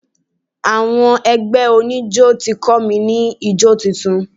Àwọn ẹgbẹ́ oníjọ́ ti kọ́ mi ní jó tuntun.